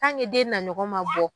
den na ɲɔgɔn ma bɔ